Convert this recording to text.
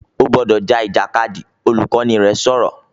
"O gbọ́dọ̀ ja Ìjàkadì!", Olùkọ́ni rẹ sọ̀rọ̀